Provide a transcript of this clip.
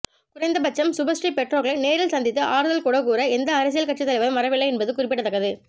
குறைந்தபட்சம் சுபஸ்ரீ பெற்றோர்களை நேரில் சந்தித்து ஆறுதல் கூட கூற எந்த அரசியல் கட்சி தலைவரும் வரவில்லை என்பது குறிப்பிடத்தக்கது